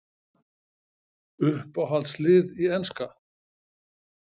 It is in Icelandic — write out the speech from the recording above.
Uppáhalds lið í enska?